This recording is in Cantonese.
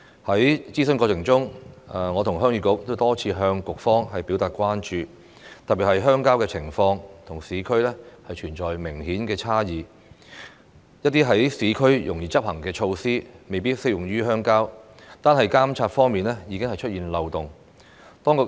在諮詢過程中，我和鄉議局多次向局方表達關注，特別是鄉郊的情況與市區存在明顯差異，一些在市區容易執行的措施，未必適用於鄉郊，單是監察方面已經出現漏洞。